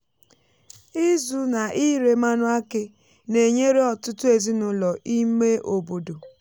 ịzụ na ire mmanụ aki na-enyere ọtụtụ ezinụlọ ime obodo.